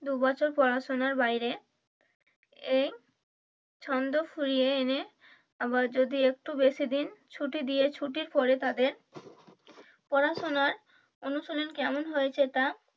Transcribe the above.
দু বছর পড়াশুনার বাইরে এই ছন্দ ফিরিয়ে এনে আবার যদি একটু বেশিদিন ছুটি দিয়ে ছুটির পরে তাদের পড়াশুনার অনুশুলীন কেমন হয়েছে তা,